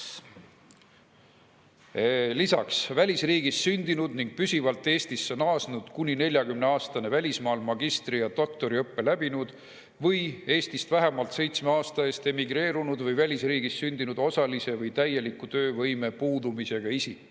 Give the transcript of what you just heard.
Lisaks välisriigis sündinud ning püsivalt Eestisse naasnud kuni 40-aastane välismaal magistri- ja doktoriõppe läbinud või Eestist vähemalt seitsme aasta eest emigreerunud või välisriigis sündinud osalise või täieliku töövõime puudumisega isik.